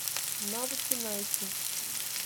навыки найти